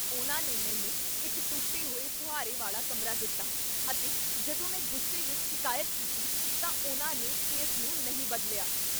ਉਹਨਾਂ ਨੇ ਮੈਨੂੰ ਇੱਕ ਟੁੱਟੇ ਹੋਏ ਫੁਹਾਰੇ ਵਾਲਾ ਕਮਰਾ ਦਿੱਤਾ ਅਤੇ ਜਦੋਂ ਮੈਂ ਗੁੱਸੇ ਵਿੱਚ ਸ਼ਿਕਾਇਤ ਕੀਤੀ ਤਾਂ ਉਹਨਾਂ ਨੇ ਇਸ ਨੂੰ ਨਹੀਂ ਬਦਲਿਆ।